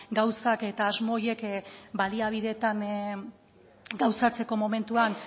gauzak eta asmo horiek baliabideetan gauzatzeko momentuan